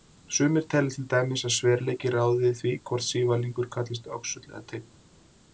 Sumir telja til dæmis að sverleiki ráði því hvort sívalningur kallast öxull eða teinn.